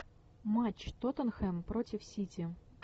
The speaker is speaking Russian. матч тоттенхэм против сити